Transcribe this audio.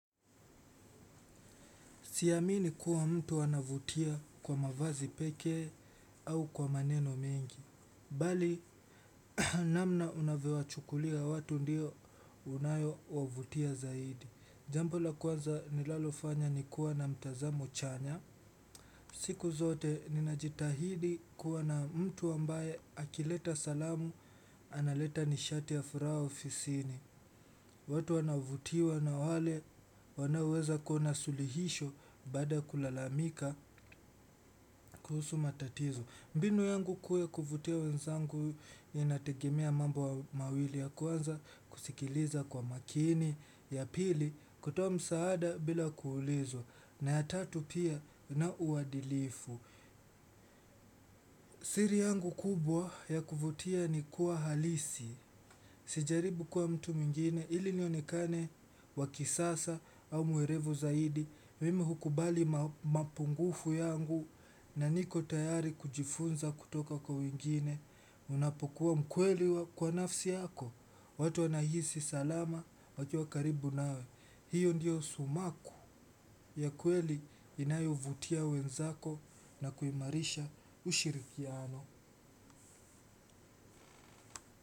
Siamini kuwa mtu ana vutia kwa mavazi peke au kwa maneno mingi. Bali namna unavyowachukulia watu ndiyo inayo wavutia zaidi. Jambo la kwanza nilalofanya ni kuwa na mtazamo chanya. Siku zote ninajitahidi kuwa na mtu ambaye akileta salamu analeta nishati ya furaha ofisini. Watu wanavutiwa na wale wanaoweza kuona sulihisho baada ya kulalamika kuhusu matatizo. Mbinu yangu kuu ya kuvutia wenzangu inategemea mambo mawili ya kwanza kusikiliza kwa makini. Ya pili kutoa msaada bila kuulizwa na ya tatu pia ni uadilifu siri yangu kubwa ya kuvutia ni kuwa halisi. Sijaribu kwa mtu mwingine ili nionekane wa kisasa au mwerevu zaidi, mimi hukubali mapungufu yangu na niko tayari kujifunza kutoka kwa wengine unapokuwa mkweli kwa nafsi yako. Watu anahisi salama wakiwa karibu nawe. Hiyo ndiyo sumaku ya kweli inayovutia wenzako na kuimarisha ushirikiano.